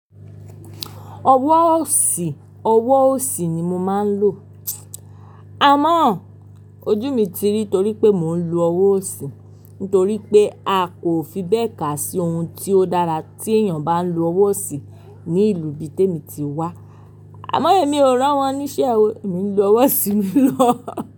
Ọwọ́ òsì, ọwọ́ òsì ni mo máa ń lò. Amọ́ ojú mi ti rí torí pé mò ń lo ọwọ́ òsì nitorí pé a kò fi bẹ́ẹ̀ kà sí ohun tí ó dára tí èèyàn bá ń lo ọwọ́ òsì ní ìlú bí Témì tí wá. Àmọ́ èmi o ránwọ́n ní ṣe o èmi ń lo ọwọ́ òsì mi ló.